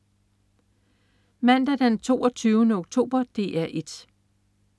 Mandag den 22. oktober - DR 1: